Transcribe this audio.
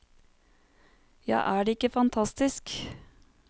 Ja, er det ikke fantastisk.